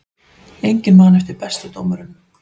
Enginn man eftir bestu dómurunum